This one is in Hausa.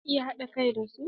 Za ki iya haɗa kai da su?